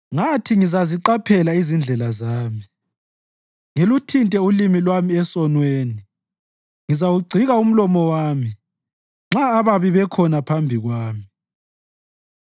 Ngathi, “Ngizaziqaphela izindlela zami, ngiluthinte ulimi lwami esonweni; ngizawugcika umlomo wami nxa ababi bekhona phambi kwami.”